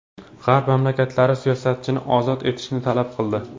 G‘arb mamlakatlari siyosatchini ozod etishni talab qildi.